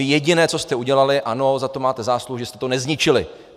Vy jediné, co jste udělali, ano, za to máte zásluhu, že jste to nezničili.